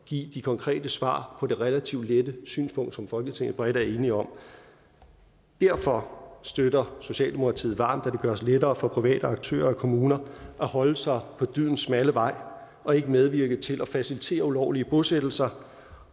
give konkrete svar på det relativt lette synspunkt som folketinget bredt er enige om derfor støtter socialdemokratiet varmt at det gøres lettere for private aktører og kommuner at holde sig på dydens smalle vej og ikke medvirke til at facilitere ulovlige bosættelser